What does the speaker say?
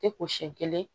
Tɛ ko siyɛn kelen